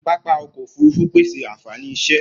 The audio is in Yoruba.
Pápá ọkọ òfurufú pèsè ànfàní iṣẹ.